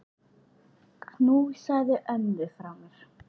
Knúsaðu ömmu frá mér.